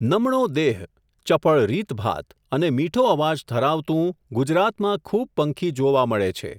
નમણો દેહ, ચપળ રીતભાત, અને મીઠો અવાજ ધરાવતું ગુજરાતમાં ખૂબ પંખી જોવા મળે છે.